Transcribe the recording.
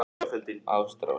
Ástrós